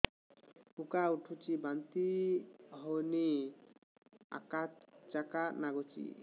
ଉକା ଉଠୁଚି ବାନ୍ତି ହଉନି ଆକାଚାକା ନାଗୁଚି